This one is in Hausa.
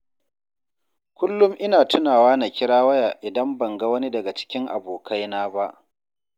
Kullum ina tunawa na kira waya idan ban ga wani daga cikin abokaina ba.